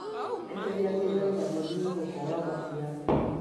Īmenyagĩrĩrwo na mũthiũrũko wa maciaro